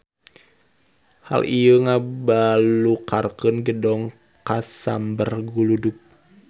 Hal ieu ngabalukarkeun gedong kasamber guludug.